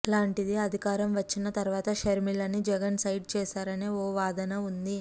అలాంటింది అధికారం వచ్చిన తర్వాత షర్మిలని జగన్ సైడ్ చేశారనే ఓ వాదన వుంది